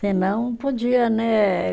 Senão, podia, né?